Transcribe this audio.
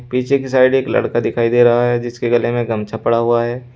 पीछे की साइड एक लड़का दिखाई दे रहा है जिसके गले में गमछा पड़ा हुआ है।